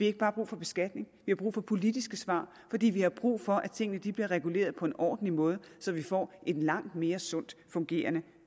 ikke bare brug for beskatning vi har brug for politiske svar fordi vi har brug for at tingene bliver reguleret på en ordentlig måde så vi får en langt mere sundt fungerende